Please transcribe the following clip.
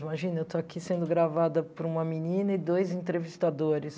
Imagina, eu estou aqui sendo gravada por uma menina e dois entrevistadores.